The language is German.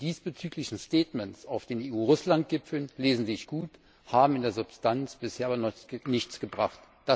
Die diesbezüglichen Erklärungen auf den EU Russland Gipfeln lesen sich gut, haben in der Substanz bisher aber noch nichts gebracht.